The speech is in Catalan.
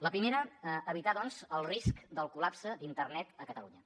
la primera evitar doncs el risc del col·lapse d’internet a catalunya